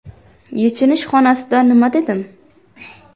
Yechinish xonasida nima dedim?